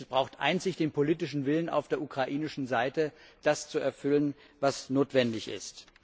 Es braucht einzig den politischen Willen auf der ukrainischen Seite, das zu erfüllen, was notwendig ist.